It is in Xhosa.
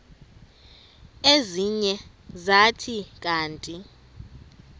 ezinye zathi kanti